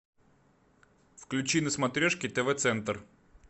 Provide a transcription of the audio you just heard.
включи на смотрешке тв центр